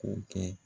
K'o kɛ